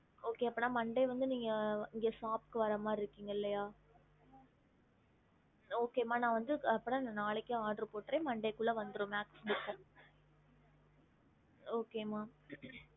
okey monday shop வரமறி இருக்கும் yes mam okay mam monday oder போடுற two days வந்துடும்